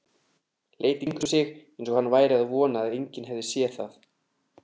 Leit í kringum sig eins og hann væri að vona að enginn hefði séð það.